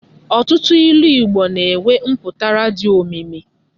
Ọtụtụ ilu Igbo na-enwe mpụtara dị omimi.